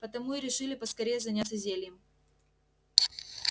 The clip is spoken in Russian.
потому и решили поскорее заняться зельем